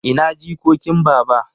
Ina jikokin baba?